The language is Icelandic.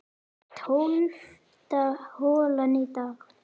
Tólfta holan í dag